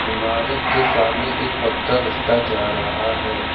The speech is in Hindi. इमारत के सामने एक पक्का रस्ता जा रहा है।